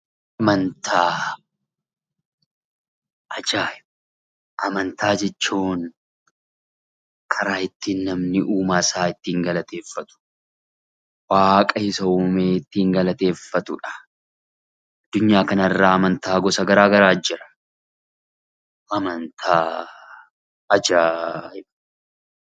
Amantaa jechuun karaa ittiin namni uumaasaa ittiin galateeffatu waaqa isa uume kan ittiin galateeffatudha. Addunyaa kanarra amantaa gosa garaagaraatu jira.